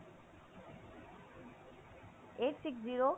eight six zero